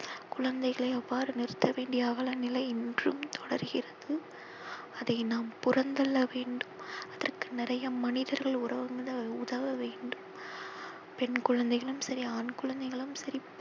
குழந்தைகளை அவ்வாறு நிறுத்த வேண்டிய அவல நிலை இன்றும் தொடர்கிறது அதை நாம் புறம் தள்ள வேண்டும். அதற்கு நிறைய மனிதர்கள் ஊடகங்கள் உதவ வேண்டும். பெண் குழந்தைகளும் சரி ஆண் குழந்தைகளும் சரி